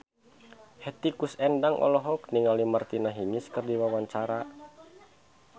Hetty Koes Endang olohok ningali Martina Hingis keur diwawancara